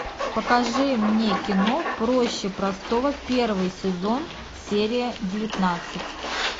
покажи мне кино проще простого первый сезон серия девятнадцать